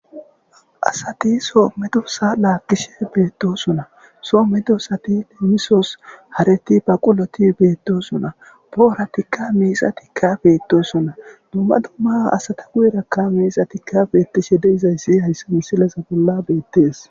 Asati soo medosa laakkishe beettosona soo medosati leemisos hareti baquloti beettosuna pooratikka miisa tikabeettosona dumma dumma asata guyerakka miisa tikafeettishe de izayssi haysse misilesa bolla beettees.